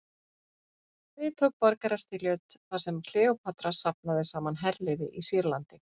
Við tók borgarastyrjöld þar sem Kleópatra safnaði saman herliði í Sýrlandi.